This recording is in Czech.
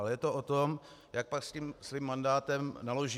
Ale je to o tom, jak pak s tím svým mandátem naloží.